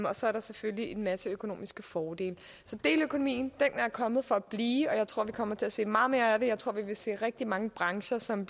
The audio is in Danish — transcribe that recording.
og så er der selvfølgelig en masse økonomiske fordele så deleøkonomien er kommet for at blive og jeg tror vi kommer til at se meget mere af det jeg tror vi vil se rigtig mange brancher som